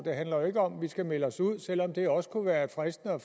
handler jo ikke om at vi skal melde os ud selv om det også kunne være fristende at